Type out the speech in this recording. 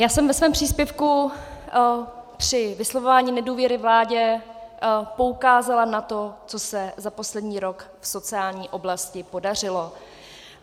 Já jsem ve svém příspěvku při vyslovování nedůvěry vládě poukázala na to, co se za poslední rok v sociální oblasti podařilo.